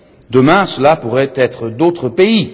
Demain, cela pourrait être d'autres pays.